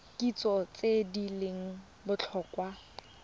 kitso tse di leng botlhokwa